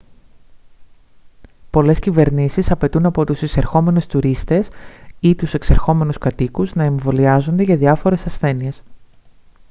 πολλές κυβερνήσεις απαιτούν από τους εισερχόμενους τουρίστες ή τους εξερχόμενους κατοίκους να εμβολιάζονται για διάφορες ασθένειες